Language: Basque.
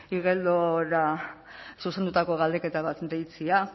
igeldora zuzendutako galdeketa bat deitzea